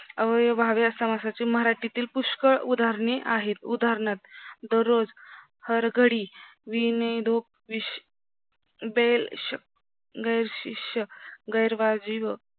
अव्ययभावे समासाचे मराठीतील पुष्कळ उदारणहे आहेत उदानहार्थ दररोज हर घडी विनयधोक